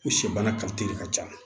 U sɛbana de ka ca